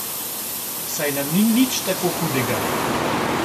Saj nam ni nič tako hudega.